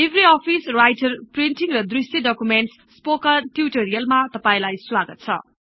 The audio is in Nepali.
लिब्रअफिस् राइटर् प्रिन्टिङ्ग र दृष्य डकुमेन्टस् स्पोकन् ट्युटोरियल् मा तपाईलाई स्वागत् छ